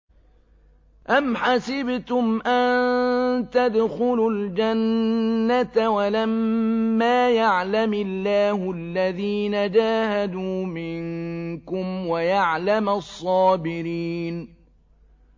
أَمْ حَسِبْتُمْ أَن تَدْخُلُوا الْجَنَّةَ وَلَمَّا يَعْلَمِ اللَّهُ الَّذِينَ جَاهَدُوا مِنكُمْ وَيَعْلَمَ الصَّابِرِينَ